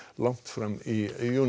langt fram í júní